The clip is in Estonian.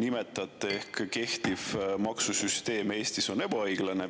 nimetate, ehk kehtiv maksusüsteem Eestis on ebaõiglane.